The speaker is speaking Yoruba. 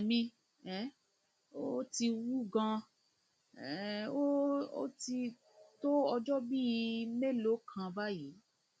ẹsẹ mi um ti wú ganan um ó ti tó ọjọ bíi mélòó kan báyìí